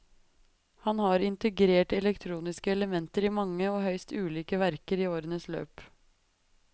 Han har integrert elektroniske elementer i mange og høyst ulike verker i årenes løp.